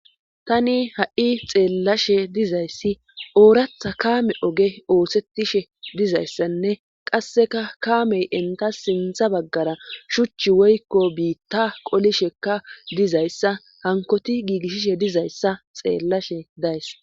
tani ha7i xeellashe dizayssi ooratha kaame oge oosetishe dizayssanne qasseka kaamey enta sintha baggara shuchchi woykko biitta qolishekka dizayssa hankoti giigishishe dizayssa xeellashe days